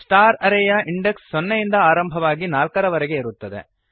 star array ಯ index ಸೊನ್ನೆಯಿಂದ ಆರಂಭವಾಗಿ ನಾಲ್ಕರವರೆಗೆ ಇರುತ್ತದೆ